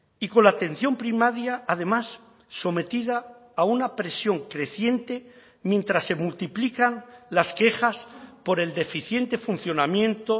y con la atención primaria además sometida a una presión creciente mientras se multiplican las quejas por el deficiente funcionamiento